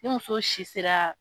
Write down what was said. Ni muso si sera.